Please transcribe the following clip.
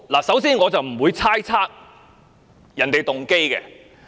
首先，我不會猜測別人的動機。